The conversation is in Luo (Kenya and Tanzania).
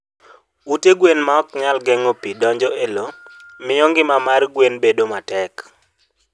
Ute gwen maonyal geng'o pi kik donj e lowo, miyo ngima mar gwen bedo matek.